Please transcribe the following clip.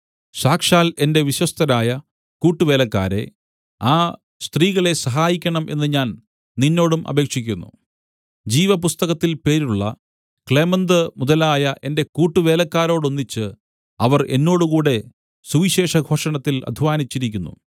സാക്ഷാൽ എന്റെ വിശ്വസ്തരായ കൂട്ടുവേലക്കാരേ ആ സ്ത്രീകളെ സഹായിക്കണം എന്ന് ഞാൻ നിന്നോടും അപേക്ഷിക്കുന്നു ജീവപുസ്തകത്തിൽ പേരുള്ള ക്ലേമന്ത് മുതലായ എന്റെ കൂട്ടുവേലക്കാരോടൊന്നിച്ച് അവർ എന്നോടുകൂടെ സുവിശേഷഘോഷണത്തിൽ അദ്ധ്വാനിച്ചിരിക്കുന്നു